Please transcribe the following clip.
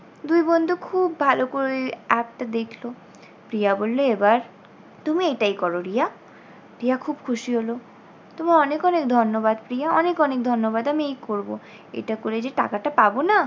দুই বন্ধু খুব ভালো করে ওই app টা দেখলো। প্রিয়া বললে এবার তুমি এটাই করো রিয়া। রিয়া খুব খুশি হলো তোমায় অনেক অনেক ধন্যবাদ প্রিয়া, অনেক অনেক ধন্যবাদ আমি এই করব এটা করে টাকাটা পাবো না,